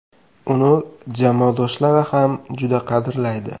Uni jamoadoshlari ham juda qadrlaydi.